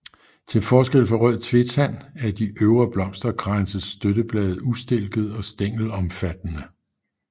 Til forskel fra rød tvetand er de øvre blomsterkranses støtteblade ustilkede og stængelomfattende